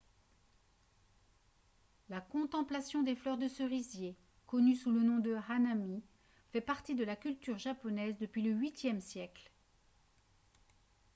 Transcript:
la contemplation des fleurs de cerisier connue sous le nom de hanami fait partie de la culture japonaise depuis le viiie siècle